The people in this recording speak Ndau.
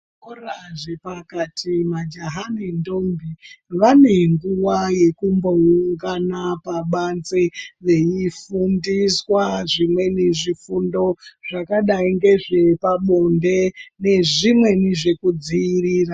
Muzvikora zvepakati majaha nendombi vane nguwa yekumboungana pabanze veifundiswa zvimweni zvifundo zvakadai ngezve pabonde nezvimweni zvekudziirira.